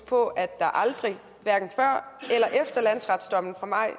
på at der aldrig hverken før eller efter landsretsdommen fra maj